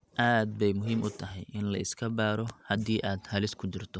Aad bay muhiim u tahay in la iska baaro haddii aad halis ku jirto.